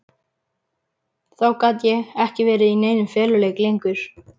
Þá gat ég ekki verið í neinum feluleik lengur.